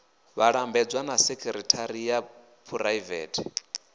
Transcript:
vhalambedzi na sekithara ya phuraivete